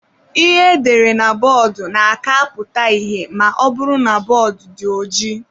Ihe edere na bọọdụ na-aka apụta ihe ma ọbụrụ na bọọdụ dị ojii.